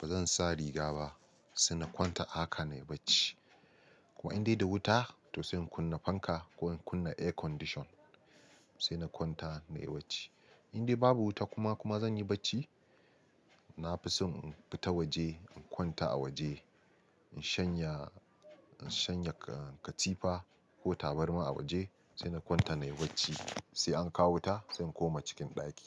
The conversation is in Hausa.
ba zan sa riga ba sai na kwanta a haka nayi bacci. Kuma in dai da wuta, to sai in kunna fanka ko in kunna air condition sai na kwanta nayi bacci. In dai babu wuta kuma kuma zan yi bacci, nafi son in fita waje in kwanta a waje, in shanya, in shanya katifa ko tabarma a waje sai na kwanta nayi bacci sai an kawo wuta sai in koma cikin ɗaki.